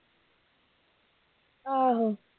ਆਹੋ